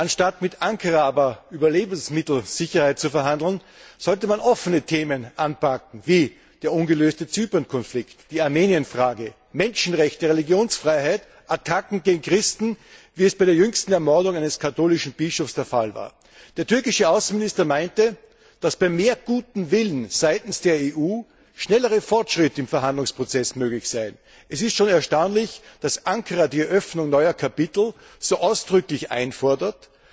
Anstatt mit Ankara aber über Lebensmittelsicherheit zu verhandeln, sollte man offene Themen anpacken wie den ungelösten Zypernkonflikt, die Armenienfrage, Menschenrechte, Religionsfreiheit, Attacken gegen Christen wie es bei der jüngsten Ermordung eines katholischen Bischofs der Fall war. Der türkische Außenminister meinte, dass bei mehr gutem Willen seitens der EU schnellere Fortschritte im Verhandlungsprozess möglich seien. Es ist schon erstaunlich, dass Ankara die Eröffnung neuer Kapitel so ausdrücklich einfordert,